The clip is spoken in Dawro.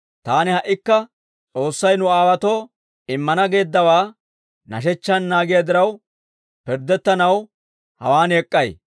Taani ha"ikka S'oossay nu aawaatoo immana geeddawaa nashechchaan naagiyaa diraw, pirddettanaw hawaan ek'k'ay.